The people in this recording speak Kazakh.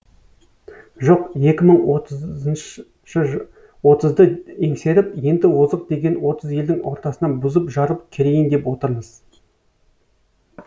жоқ екі мың отызды еңсеріп енді озық деген отыз елдің ортасына бұзып жарып кірейін деп отырмыз